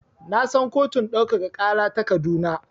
Na san kotun ɗaukaka ƙara ta Kaduna.